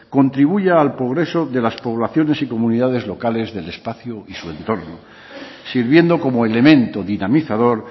contribuya al progreso de las poblaciones y comunidades locales del espacio y su entorno sirviendo como elemento dinamizador